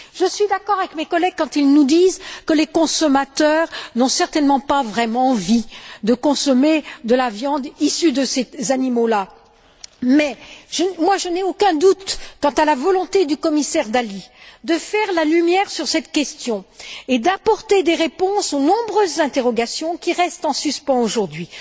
Je suis d'accord avec mes collègues quand ils nous disent que les consommateurs n'ont certainement pas envie de consommer de la viande issue de ces animaux. Mais je n'ai aucun doute quant à la volonté du commissaire Dalli de faire la lumière sur cette question et d'apporter des réponses aux nombreuses interrogations qui restent en suspens aujourd'hui.